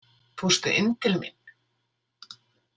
Fórstu inn til mín?